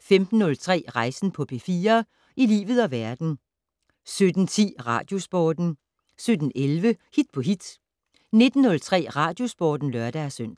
fortsat 15:03: Rejsen på P4 - i livet og verden 17:10: Radiosporten 17:11: Hit på hit 19:03: Radiosporten (lør-søn)